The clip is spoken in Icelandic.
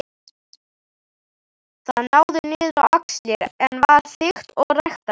Það náði niður á axlir en var þykkt og ræktarlegt.